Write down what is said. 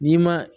N'i ma